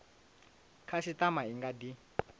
khasitama i nga kha di